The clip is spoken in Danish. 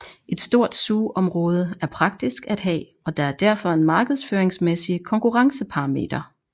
Et stort zoomområde er praktisk at have og der er derfor en markedføringsmæssig konkurrenceparameter